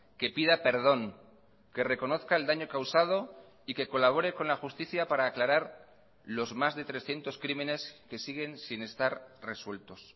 que pida perdón que reconozca el daño causado y que colabore con la justicia para aclarar los más de trescientos crímenes que siguen sin estar resueltos